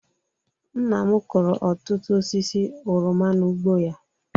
Nna m kụrụ ọtụtụ osisi oroma n'ugbo ya